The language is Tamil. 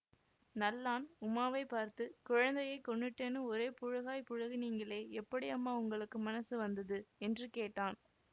நல்லான் உமாவைப் பார்த்து குழந்தையை கொன்னுட்டேன்னு ஒரே புளுகாய்ப் புளுகினீங்களே எப்படி அம்மா உங்களுக்கு மனஸு வந்தது என்று கேட்டான்